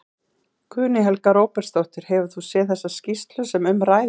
Guðný Helga Herbertsdóttir: Hefur þú séð þessa skýrslu sem um ræðir?